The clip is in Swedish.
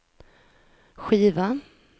skiva